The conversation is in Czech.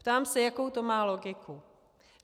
Ptám se: Jakou to má logiku?